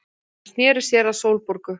Hann sneri sér að Sólborgu.